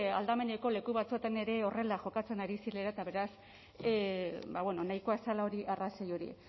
aldameneko leku batzuetan ere horrela jokatzen ari zirela eta beraz ba bueno nahikoa zela arrazoi hori